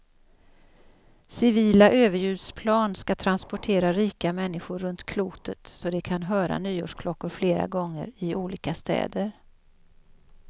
Civila överljudsplan ska transportera rika människor runt klotet så de kan höra nyårsklockor flera gånger, i olika städer.